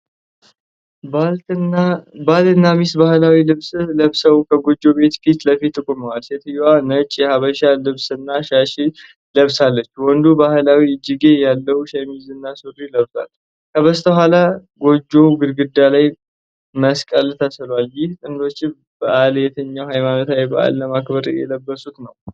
ባልና ሚስት ባህላዊ ልብስ ለብሰው ከጎጆ ቤት ፊት ለፊት ቆመዋል። ሴትየዋ ነጭ የሐበሻ ልብስና ሻሽ ለብሳለች። ወንዱ ባህላዊ እጅጌ ያለው ሸሚዝና ሱሪ ለብሷል። ከበስተኋላ የጎጆው ግድግዳ ላይ መስቀል ተስሏል። ይህ ጥንዶች በዓል የትኛውን ሃይማኖታዊ በዓል ለማክበር የለበሱት ነው?